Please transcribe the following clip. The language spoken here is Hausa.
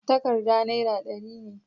takarda naira dari ne